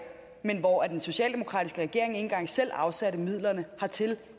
men hvor den socialdemokratiske regering ikke engang selv afsatte midlerne dertil